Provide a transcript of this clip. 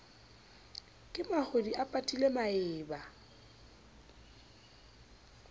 ke mahodi a patile maeba